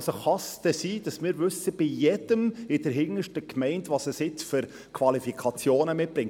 Kann es denn sein, dass wir bei jedem, bis in die hinterste Gemeinde, wissen, welche Qualifikationen er mitbringt?